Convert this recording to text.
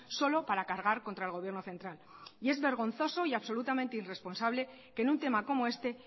solo para cargar contra el gobierno central y es vergonzoso y absolutamente irresponsable que en un tema como este